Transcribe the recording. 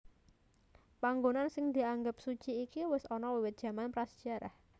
Panggonan sing dianggep suci iki wis ana wiwit jaman prasajarah